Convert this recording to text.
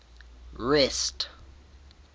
rest